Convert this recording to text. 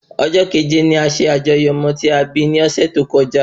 Ọjọ́ kẹ̀jẹ ni a ṣe àjọyọ̀ ọmọ tí a bí ni ọ̀sẹ̀ tó kọjá